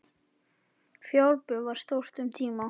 Fjárbú var þar stórt um tíma.